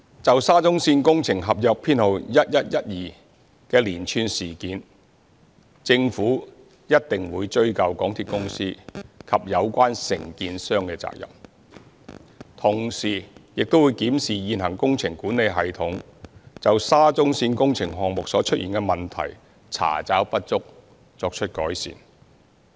就沙中線工程合約編號1112的連串事件，政府一定會追究港鐵公司及有關承建商的責任，同時亦會檢視現行工程管理系統就沙中線工程項目所出現的問題，查找不足，作出改善。